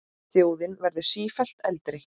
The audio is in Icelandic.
Þjóðin verður sífellt eldri.